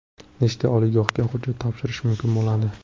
Nechta oliygohga hujjat topshirish mumkin bo‘ladi?